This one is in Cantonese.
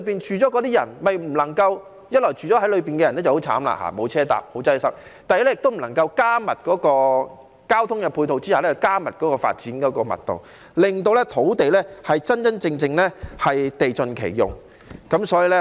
一方面，住在區內的人很慘，沒有公共交通工具，十分擠塞；另一方面，亦不能夠在加強交通配套下調高發展密度，令土地真正地盡其用。